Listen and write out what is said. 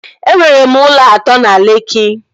E nwere m ụlọ atọ na Lekki